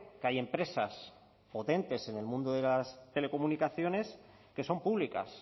que hay empresas potentes en el mundo de las telecomunicaciones que son públicas